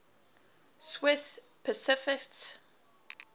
swiss pacifists